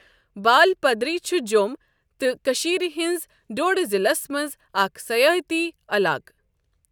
بال پدری چھ جۆم تہٕ کٔشیٖر ہِنز ڈوڈٕ ضِلعس مَنٛز اَكھ صیٲتی عَلاقہٕ۔